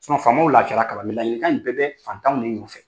Faamaw laafiya la laɲinikan in bɛɛ bɛ fantanw de nɔfɛ.